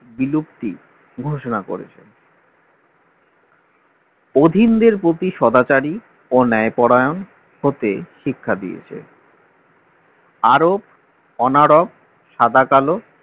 বিলুপ্তি ঘোষনা করেছে অধীনদের প্রতি সদাচারী ও ন্যায় পরায়ণ হতে শিক্ষা দিয়েছে আরপ অনরপ সাদাকালো